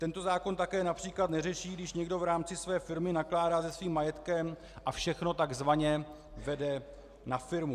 Tento zákon také například neřeší, když někdo v rámci své firmy nakládá se svým majetkem a všechno takzvaně vede na firmu.